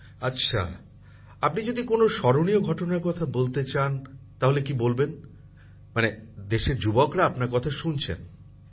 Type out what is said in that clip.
প্রধানমন্ত্রী জীঃ আচ্ছা আপনি যদি কোনও স্মরণীয় ঘটনার কথা বলতে চান তাহলে কী বলবেন দেশের যুবকযুবতীরা আপনার কথা শুনছেন কিন্তু